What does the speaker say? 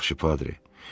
Yaxşı, Padre.